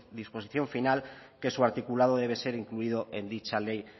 disposición final que su articulado debe ser incluido en dicha ley